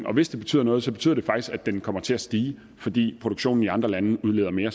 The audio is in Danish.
og hvis det betyder noget så betyder det faktisk at den kommer til at stige fordi produktionen i andre lande udleder mere